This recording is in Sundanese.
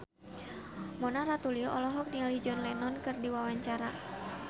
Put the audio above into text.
Mona Ratuliu olohok ningali John Lennon keur diwawancara